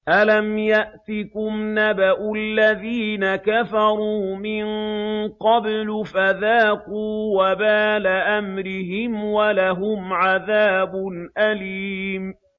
أَلَمْ يَأْتِكُمْ نَبَأُ الَّذِينَ كَفَرُوا مِن قَبْلُ فَذَاقُوا وَبَالَ أَمْرِهِمْ وَلَهُمْ عَذَابٌ أَلِيمٌ